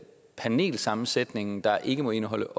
panelsammensætningen der ikke må indeholde